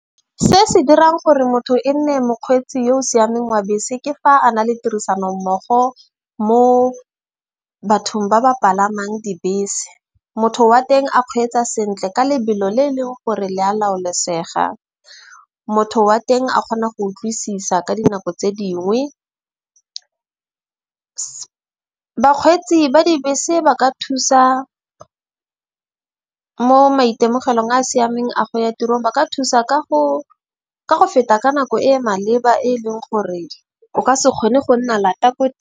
Se se dirang gore motho e nne mokgweetsi yo o siameng wa bese, ke fa a na le tirisano mmogo mo bathong ba ba palamang dibese. Motho wa teng a kgweetsa sentle ka lebelo le eleng gore le a laolesega. Motho wa teng a kgona go utlwisisa ka dinako tse dingwe. Bakgweetsi ba dibese ba ka thusa mo maitemogelong a a siameng a go ya tirong. Ba ka thusa ka go feta ka nako e e maleba e leng gore o ka se kgone go nna lata ko.